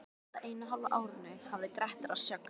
Á síðasta eina og hálfa árinu hafði Grettir að sögn